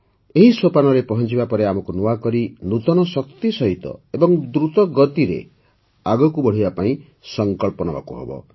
ଏହି ସୋପାନରେ ପହଂଚିବା ପରେ ଆମକୁ ନୂଆକରି ନୂତନ ଶକ୍ତି ସହିତ ଏବଂ ଦ୍ରୁତ ଗତିରେ ଆଗକୁ ବଢ଼ିବା ପାଇଁ ସଂକଳ୍ପ ନେବାକୁ ହେବ